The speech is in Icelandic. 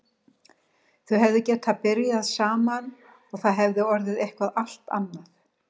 Þau hefðu getað byrjað saman og það hefði orðið eitthvað allt annað.